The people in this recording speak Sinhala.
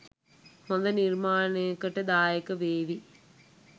හොඳ නිර්මාණයකට දායක වේවි.